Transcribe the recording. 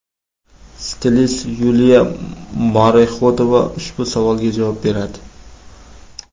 Stilist Yuliya Morexodova ushbu savolga javob beradi .